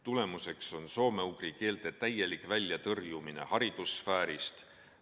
Tulemuseks on soome-ugri keelte täielik väljatõrjumine haridussfäärist.